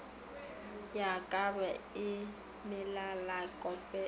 ya ka e melalekope o